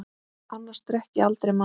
Annars drekk ég aldrei malt.